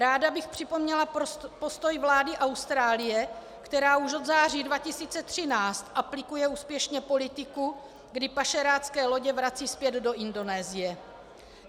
Ráda bych připomněla postoj vlády Austrálie, která už od září 2013 aplikuje úspěšně politiku, kdy pašerácké lodě vrací zpět do Indonésie.